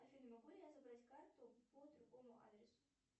афина могу ли я забрать карту по другому адресу